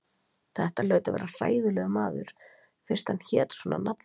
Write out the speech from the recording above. Þetta hlaut að vera hræðilegur maður, fyrst hann hét svona nafni.